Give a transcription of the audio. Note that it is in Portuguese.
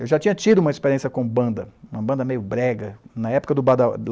Eu já tinha tido uma experiência com banda, uma banda meio brega, ná época do